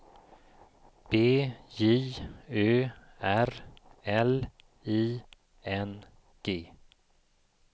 B J Ö R L I N G